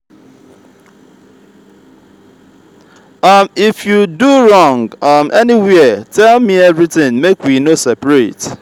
if i do you wrong um anywhere tell me everything make we no seperate